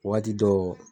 Waati dɔ